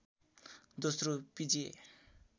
दोस्रो पिजिए